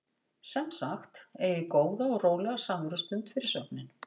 Sem sagt: Eigið góða og rólega samverustund fyrir svefninn.